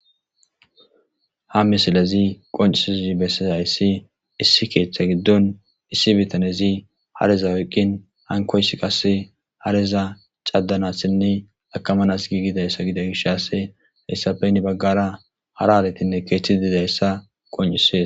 Hammisilezi qoncisizi bessisayssi issi keeththa giddon issi bitanezi hareza oyqqin hankoysi qasse hareza cadanassinne akamanas giigidayssa gida gishase heyssapeyni baggara hara aletinne keeththi didayssa qoncisees.